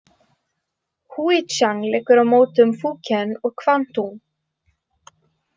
Húítsjang liggur á mótum Fúkén og Kvangtúng.